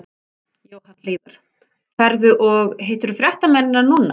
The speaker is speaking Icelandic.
Jóhann Hlíðar: Ferðu og, hittirðu fréttamennina núna?